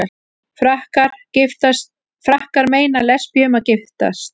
Frakkar meina lesbíum að giftast